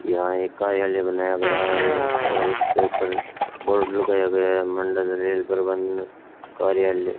यहां एक कार्यालय बनाया गया है और इसके ऊपर बोर्ड लगाया गया है मंडल रेल प्रबंधक कार्यालय।